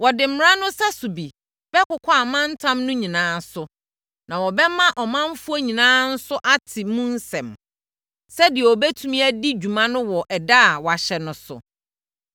Wɔde mmara no sɛso bi bɛkokɔ amantam no nyinaa so, na wɔbɛma ɔmanfoɔ nyinaa nso ate mu nsɛm, sɛdeɛ wɔbɛtumi adi dwuma no wɔ ɛda a wɔahyɛ no so.